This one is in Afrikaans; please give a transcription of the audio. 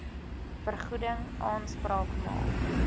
vergoeding aanspraak maak